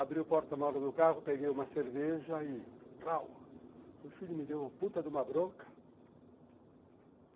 Abri o porta-malas do carro, peguei uma cerveja e... o filho me deu uma puta de uma bronca.